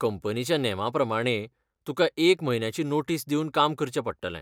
कंपनीच्या नेमा प्रमाणें, तुका एक म्हयन्याची नोटीस दिवन काम करचें पडटलें.